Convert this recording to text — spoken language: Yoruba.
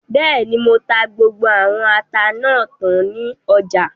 Bẹ́ẹ̀ni, mo ta gbogbo àwọn ata náà tán ní ọjà